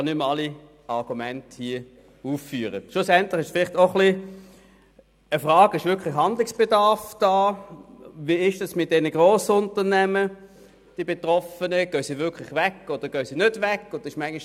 Wir haben über die USR III abgestimmt, und diese wurde im Kanton Bern zu 69 Prozent abgelehnt.